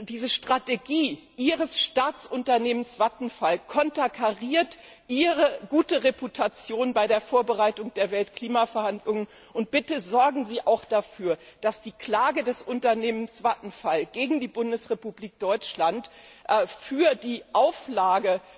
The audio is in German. Diese Strategie Ihres Staatsunternehmens Vattenfall konterkariert Ihre gute Reputation bei der Vorbereitung der Weltklimaverhandlungen. Bitte sorgen Sie auch dafür, dass die Klage des Unternehmens Vattenfall gegen die Bundesrepublik Deutschland wegen der Auflage,